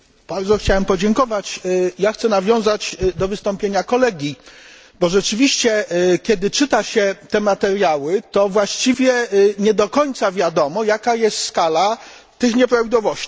Chciałbym podziękować i nawiązać do wystąpienia kolegi. Rzeczywiście, kiedy czyta się te materiały, to właściwie nie do końca wiadomo, jaka jest skala tych nieprawidłowości.